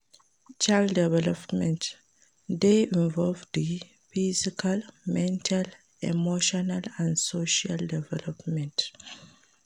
Child development de involve di physical, mental, emotional and social development